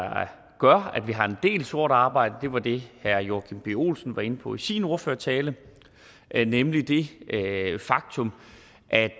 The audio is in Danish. gør at vi har en del sort arbejde var det herre joachim b olsen var inde på i sin ordførertale nemlig det faktum at